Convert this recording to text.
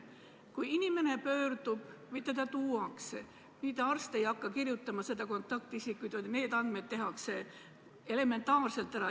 Kui inimene pöördub haiglasse või ta tuuakse sinna, siis mitte arst ei hakka seda kontaktisikut kirjutama, vaid need andmed fikseeritakse elementaarselt.